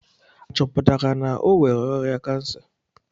A chọpụtara na o nwere ọrịa kansa?